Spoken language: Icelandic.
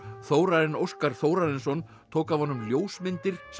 Þórarinn Óskar Þórarinsson tók af honum ljósmyndir sem